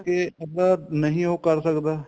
ਕਰਕੇ ਅਗਲਾ ਨਹੀਂ ਉਹ ਕਰ ਸਕਦਾ